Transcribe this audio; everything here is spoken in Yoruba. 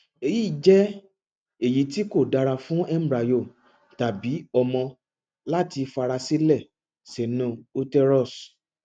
eyi jẹ eyiti ko dara fun embryo tabi ọmọ lati farasile sinu uterus